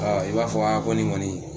i b'a fɔ a ko ni kɔni.